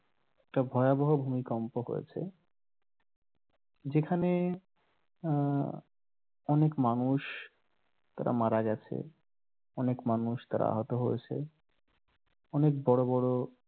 একটা ভয়াবহ ভূমিকম্প হয়েছে যেখানে আহ অনেক মানুষ তারা মারা গেছে অনেক মানুষ তারা আহত হয়েছে অনেক বড় বড়